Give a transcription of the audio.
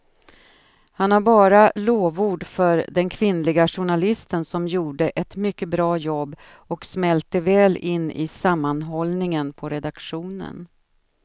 Han har bara lovord för den kvinnliga journalisten som gjorde ett mycket bra jobb och smälte väl in i sammanhållningen på redaktionen.